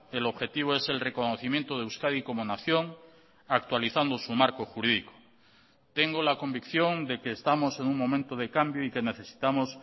el objetivo es el reconocimiento de euskadi como nación actualizando su marco jurídico tengo la convicción de que estamos en un momento de cambio y que necesitamos